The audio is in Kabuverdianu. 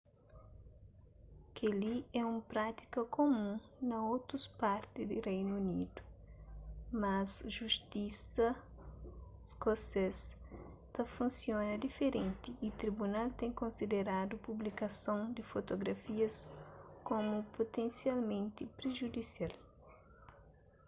kel-li é un prátika kumun na otus parti di reinu unidu mas justisa iskosês ta funsiona diferenti y tribunal ten konsideradu publikason di fotografias komu putensialmenti prijudisial